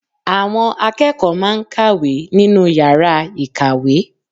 Àwọn akẹ́kọ̀ọ́ máa n kàwé nínu yàrá ìkàwé